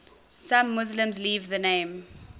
some muslims leave the name